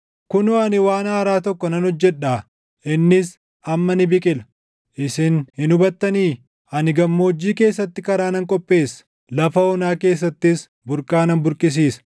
Kunoo, ani waan haaraa tokko nan hojjedhaa! Innis amma ni biqila; isin hin hubattanii? Ani gammoojjii keessatti karaa nan qopheessa; lafa onaa keessattis burqaa nan burqisiisa.